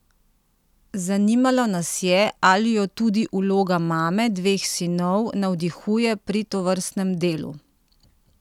Zanimalo nas je, ali jo tudi vloga mame dveh sinov navdihuje pri tovrstnem delu?